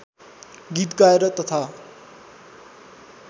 गीत गाएर तथा